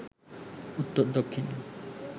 উত্তর-দক্ষিণে